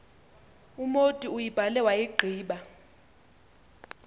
umotu uyibhale wayigqiba